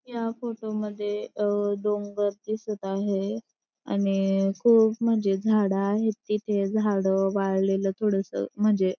या फोटो मध्ये अ डोंगर दिसत आहे आणि खूप म्हणजे झाड आहे तिथे झाड वाळलेल थोडास म्हणजे --